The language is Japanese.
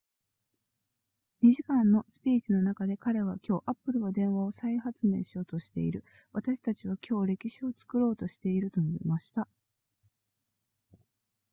2時間のスピーチの中で彼は今日 apple は電話を再発明しようとしている私たちは今日歴史を作ろうとしていると述べました